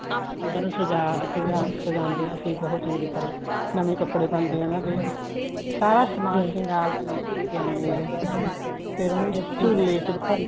ਅੰਦਰੋ ਸਜ਼ਾ ਸਜ਼ਾ ਸਜਾਂਦੇ ਆ ਅਸੀਂ ਬਹੁਤ ਚੰਗੀ ਤਰ੍ਹਾਂ ਨਵੇ ਕੱਪੜੇ ਪਾਉਂਦੇ ਆ ਉਹਨਾ ਦੇ ਸਾਰਾ ਸਮਾਨ ਸ਼ਿੰਗਾਰ ਦਾ ਨਵਾਂ ਲਿਆਉਣੇ ਆ ਫ਼ੇਰ ਉਹਨੂੰ ਝੁੱਲੇ ਚ ਬਿਠਾ